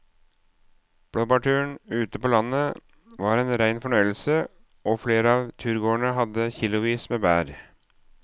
Blåbærturen ute på landet var en rein fornøyelse og flere av turgåerene hadde kilosvis med bær.